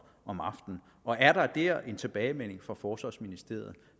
om aftenen og er der her en tilbagemelding fra forsvarsministeriet